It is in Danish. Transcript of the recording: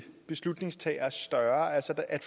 at